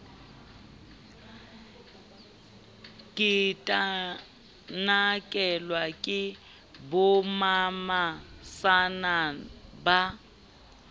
ke tanakelwe ke bommamesana ba